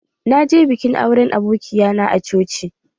Na je bikin auren abokia na a coci.